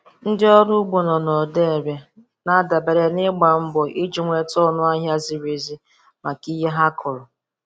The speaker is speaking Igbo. Ndị ọrụ ugbo nọ na Odo Ere na-adabere n'ịgba mgba iji nweta ọnụ ahịa ziri ezi maka ihe ha kụrụ.